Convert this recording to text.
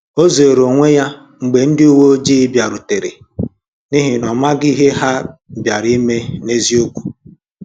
O zeere onwe ya mgbe ndị uwe ojii bịarutere, n’ihi na ọ maghị ihe ha bịara ime n’eziokwu.